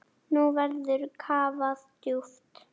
Nú verður kafað djúpt.